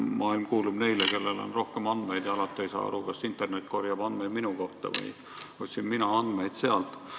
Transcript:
Jah, maailm kuulub neile, kellel on rohkem andmeid, ja alati ei saa aru, kas internet korjab andmeid minu kohta või otsin mina andmeid sealt.